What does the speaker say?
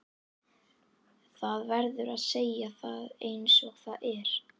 Það verður að segja það einsog það er.